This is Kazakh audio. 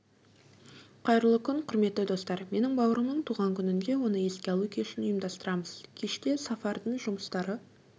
қайырлы күн құрметті достар менің бауырымның туған күнінде оны еске алу кешін ұйымдастырамыз кеште сафардың жұмыстары